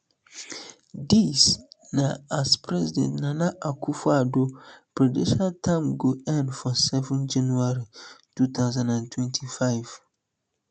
dis na as president nana akufo addo predential term go end for seven january two thousand and twenty-five